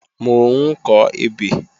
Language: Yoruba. Mò ń kọ ebè